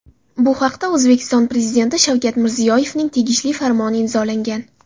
Bu haqda O‘zbekiston Prezidenti Shavkat Mirziyoyevning tegishli farmoni imzolangan .